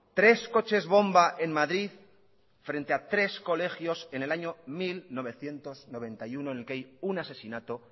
tres coches bomba en madrid frente a tres colegios en el año mil novecientos noventa y uno en el que hay un asesinato